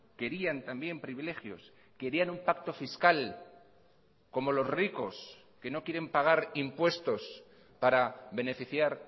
querían también privilegios querían un pacto fiscal como los ricos que no quieren pagar impuestos para beneficiar